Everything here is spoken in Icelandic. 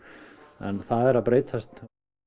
en það er að breytast